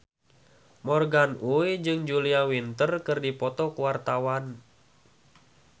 Morgan Oey jeung Julia Winter keur dipoto ku wartawan